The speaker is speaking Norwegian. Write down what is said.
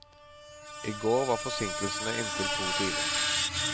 I går var forsinkelsene inntil to timer.